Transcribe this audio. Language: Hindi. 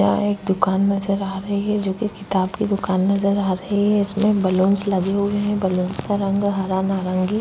यह एक दुकान नजर आ रही है जोकि किताब की दुकान नजर आ रही है उसमें बलून्स लगे हुए है बलून्स का रंग हरा नारंगी --